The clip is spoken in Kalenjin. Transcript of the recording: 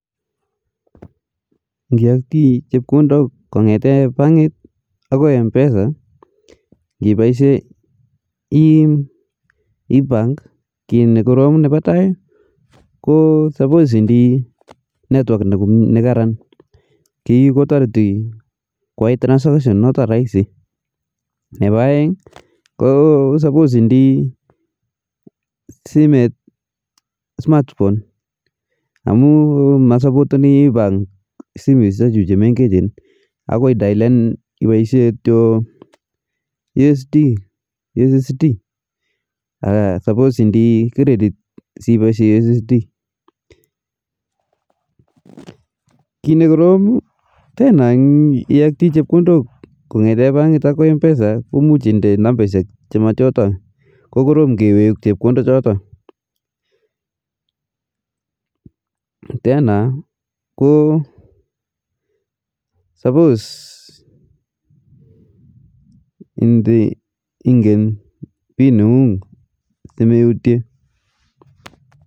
Ngiaktii chepkondok kongetee bankit ako mpesa kipaishe ebank kii ne korom nepa tai ko supos indii network ne karan kii ko tariti kwai transaction noto raisi, nepa aeng ko supos indii simet smartphone amu musupoteni ebank simet chutachu che mengech akoi idalen ipaishe kityo ussd ak supos indii credit si ipaishe ussd ,kii ne korom tena iaktii chepkondok kongetee bankit ako [mpesa ko muj indee nambashek chi machoto ko korom kewek chepkondok choto ,tena ko supos ingen pin nengung si meutie